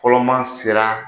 Kɔlɔ maa sera